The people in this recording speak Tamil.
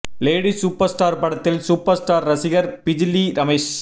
லேடி சூப்பர் ஸ்டார் படத்தில் சூப்பர் ஸ்டார் ரசிகர் பிஜிலி ரமேஷ்